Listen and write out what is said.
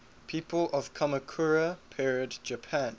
people of kamakura period japan